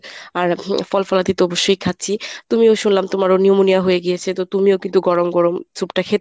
আর হম ফল ফলাদি তো অবশ্যই খাচ্ছি। তুমিও শুনলাম তোমারও pneumonia হয়ে গিয়েছে তো তুমিও কিন্তু গরম গরম soup টা খেতে